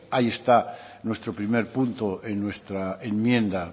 ahí está nuestro primer punto en nuestra enmienda